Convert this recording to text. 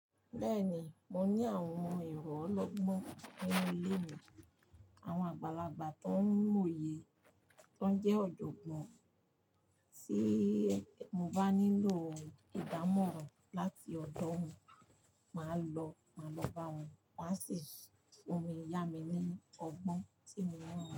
Bẹ́ẹ̀ni, mo ní àwọn ọhun erọ̀ olọ́gbọ́n nínú ilé mi. Àwọn àgbàlagbà tó ń lòye tó ń jẹ́ ọ̀jọ̀gbọ́n tí mo bá nílò ìdámọ̀ràn láti ọ̀dọ̀ wọn, màá lọ, màá lọ bá wọn. Wá sì fún mi yá mi ní ọgbọ́n tí mo wá ń ra.